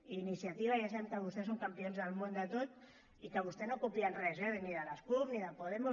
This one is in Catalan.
i iniciativa ja sabem que vostès són campions del món de tot i que vostès no copien res eh ni de les cup ni de podemos